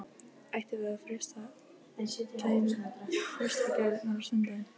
Ættum við að freista gæfunnar á sunnudaginn?